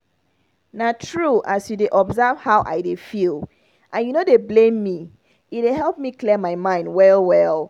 na true as you dey observe how i dey feel and you no dey blame me e dey help clear my mind well well.